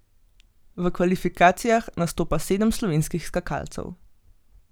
V kvalifikacijah nastopa sedem slovenskih skakalcev.